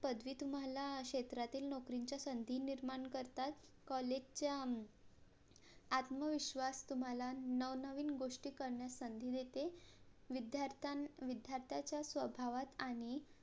पदवी तुम्हाला क्षेत्रातील नोकरीच्या संधी निर्माण करतात COLLEGE च्या आत्मविश्वास तुम्हाला नवनवीन गोष्टी करण्यात संधी देते विद्यार्थ्यां विद्यार्थांच्या स्वभावात आणि